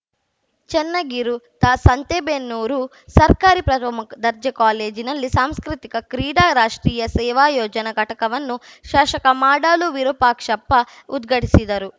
ಚನ್ನಗಿರು ತಾ ಸಂತೇಬೆನ್ನೂರು ಸರ್ಕಾರಿ ಪ್ರಮ ದರ್ಜೆ ಕಾಲೇಜಿನಲ್ಲಿ ಸಾಂಸ್ಕೃತಿಕ ಕ್ರೀಡಾ ರಾಷ್ಟ್ರೀಯ ಸೇವಾ ಯೋಜನಾ ಘಟಕವನ್ನು ಶಾಶಕ ಮಾಡಾಳು ವಿರೂಪಾಕ್ಷಪ್ಪ ಉದ್ಘಾಟಿಸಿದರು